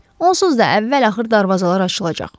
Onsuz da əvvəl-axır darvazalar açılacaq.